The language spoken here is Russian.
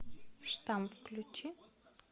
штамп включи